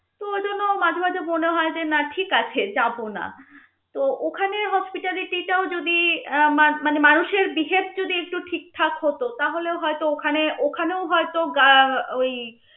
তো ওই জন্য মনে হয় যে না ঠিক আছে যাব না তো ওখানে hospitality টাও যদি আহ মান~ মানুষের behave যদি ঠিক ঠাক হত তাহলেও হয়ত ওখানে ওখানেও হয়ত gui~ ~ ওই